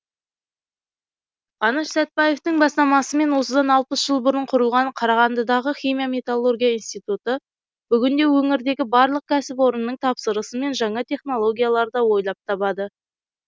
қаныш сәтбаевтың бастамасымен осыдан алпыс жыл бұрын құрылған қарағандыдағы химия металлургия институты бүгінде өңірдегі барлық кәсіпорынның тапсырысымен жаңа технологияларды ойлап табады